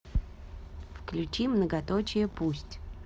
включи многоточие пусть